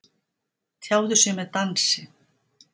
Tjáðu sig með dansi